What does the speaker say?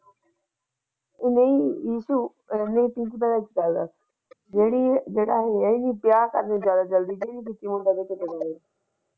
ਨਹੀਂ ਇਸ਼ੂ ਜਿਹੜਾ ਹੋਇਆ ਸੀ ਵਿਆਹ ਜ਼ਿਆਦਾ ਜਲਦੀ ਤੇ ਨਹੀਂ ਕੀਤੀ ਮੁੰਡਾ ਵੇਖਣ ਚੱਲੇ ਗਏ।